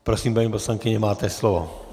Prosím, paní poslankyně, máte slovo.